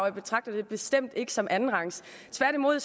jeg betragter det bestemt ikke som noget andenrangs tværtimod